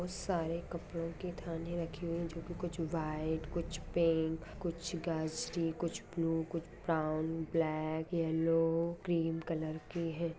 बहुत सारे कपडे की थानों राखी हुई है जोकि कुछ वाइट कुछ पिंक कुछ सागी कुछ ब्लू कुछ brown black yellow cream colour की है।